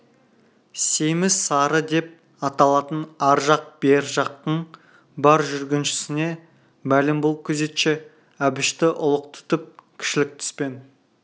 семіз сары деп аталатын ар жақ бер жақтың бар жүргіншісіне мәлім бұл күзетші әбішті ұлық тұтып кішілік түспен